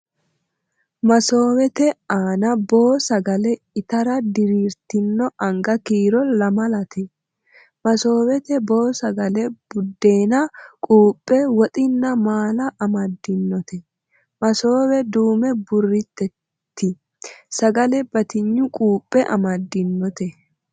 Masoowete aana boo sagale ittara diriirtino anga kiiro lamalate .masoowete boo sagale buddeena, kuuphe woxinna maala amaddinote. masoowe duume burritteeti. sagale batinye kuuphe amaddinote.